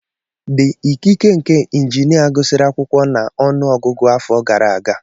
The ikike nke injinia gụsịrị akwụkwọ na ọnụ ọgụgụ afọ gara aga.